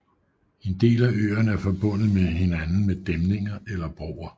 En del af øerne er forbundet med hinanden med dæmninger eller broer